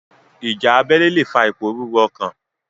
Ìjà abélé lè fa ìpòrúrú ọkàn.